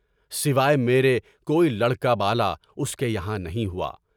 سوائے میرے کوئی لڑکا بالا اس کے یہاں نہیں ہوا۔